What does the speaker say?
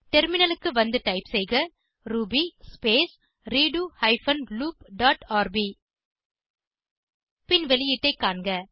டெர்மினலுக்கு வந்து டைப் செய்க ruby space redo hyphen loop dot rb பின் வெளியீட்டை காண்க